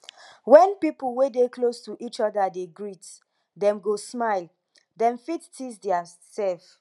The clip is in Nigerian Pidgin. when pipo wey dey close to each oda dey greet dem go smile dem fit tease theirself